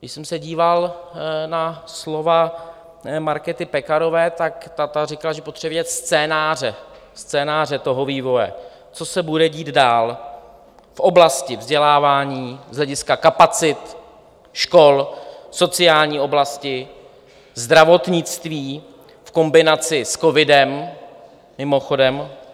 Když jsem se díval na slova Markéty Pekarové, tak ta říkala, že potřebuje vidět scénáře, scénáře toho vývoje, co se bude dít dál v oblasti vzdělávání, z hlediska kapacit škol, sociální oblasti, zdravotnictví v kombinaci s covidem, mimochodem.